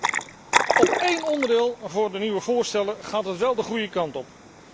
In één onderdeel van de nieuwe voorstellen gaat het wel de goede kant op.